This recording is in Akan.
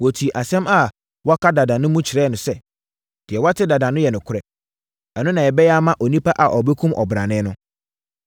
Wɔtii asɛm a wɔaka dada no mu kyerɛɛ no sɛ, “Deɛ woate dada no yɛ nokorɛ. Ɛno na yɛbɛyɛ ama onipa a ɔbɛkum ɔbrane no.”